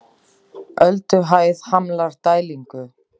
Ölduhæð hamlar dælingu